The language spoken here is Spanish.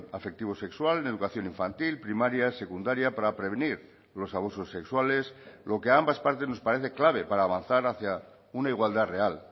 afectivo sexual en educación infantil primaria secundaria para prevenir los abusos sexuales lo que a ambas partes nos parece clave para avanzar hacia una igualdad real